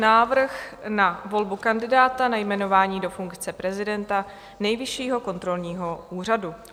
Návrh na volbu kandidáta na jmenování do funkce prezidenta Nejvyššího kontrolního úřadu